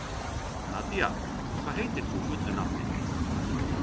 Nadia, hvað heitir þú fullu nafni?